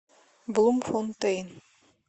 блумфонтейн